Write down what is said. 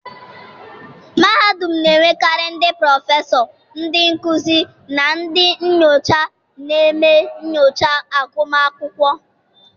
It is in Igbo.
mahadum na-enwekarị ndị prọfesọ, ndị nkuzi na ndị nyocha na-eme nyocha agụmakwụkwọ.